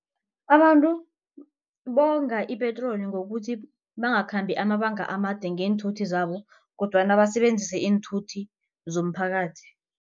Abantu bonga ipetroli ngokuthi bangakhambi amabanga amade ngeenthuthi zabo kodwana basebenzise iinthuthi zomphakathi.